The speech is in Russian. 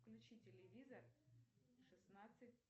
включи телевизор шестнадцать